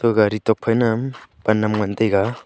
gari tuak phai ma pan nam ngan taiga.